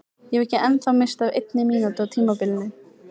Ég hef ekki ennþá misst af einni mínútu á tímabilinu!